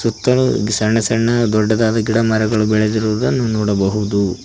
ಸುತ್ತಲು ಸಣ್ಣ ಸಣ್ಣ ದೊಡ್ಡದಾದ ಗಿಡಮರಗಳು ಬೆಳೆದಿರುವುದನ್ನು ನೋಡಬಹುದು.